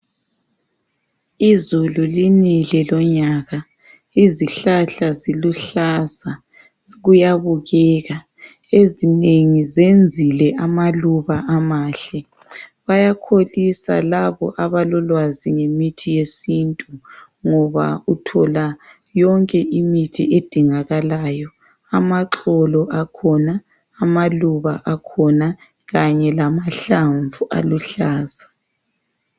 Izulu linile lonyaka, izihlahla ziluhlaza kuyabukeka. Ezinengi zenzile amaluba amahle. Bayakholisa labo abalolwazi ngemithi yesintu ngoba uthola yonke imithi edingakalayo, amaxolo akhona, amaluba akhona kanye lamahlamvu aluhlaza.